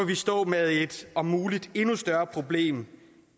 vi stå med et om muligt endnu større problem